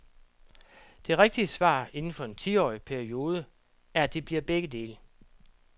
Det rigtige svar inden for en tiårig periode er at det bliver begge dele.